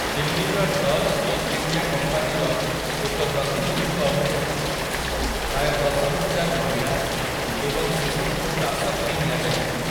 ଦିଲ୍ଲୀର Dutch East India କମ୍ପାନୀର ଏକ ପ୍ରତିନିଧିଙ୍କ ଅନୁଯାୟୀ, ପ୍ରାୟ ଦଶହଜାର ମହିଳା ଏବଂ ଶିଶୁଙ୍କୁ ଦାସ କରି ନିଆଯାଇଥିଲା ।